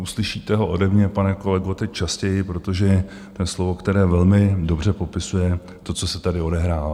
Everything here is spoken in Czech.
Uslyšíte ho ode mě, pane kolego, teď častěji, protože to je slovo, které velmi dobře popisuje to, co se tady odehrává.